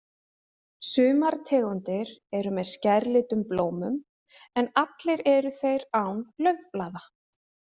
Sumar tegundir eru með skærlitum blómum, en allir eru þeir án laufblaða.